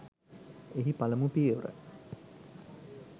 එහි පළමු පියවර